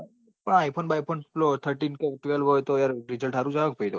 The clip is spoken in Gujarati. iphone બાઈ phone પેલો thirtypro હોય તો result હરુજ આવે ક